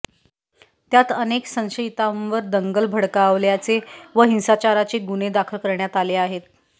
त्यात अनेक संशयितांवर दंगल भडकावल्याचे व हिंसाचाराचे गुन्हे दाखल करण्यात आले आहेत